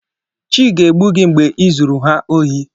Chi ga-egbu gị mgbe i zuru ha ohi.